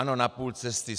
Ano, na půl cesty.